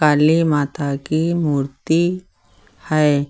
काली माता की मूर्ति है।